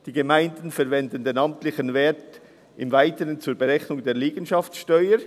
Die Gemeinden verwenden den amtlichen Wert im Weiteren zur Berechnung der Liegenschaftssteuer.